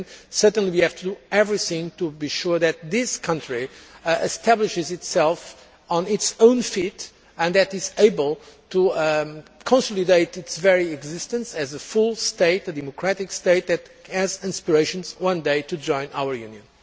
Certainly we have to do everything to be sure that the country establishes itself on its own feet and that it is able to consolidate its existence as a full state, a democratic state, that has aspirations one day to join our Union.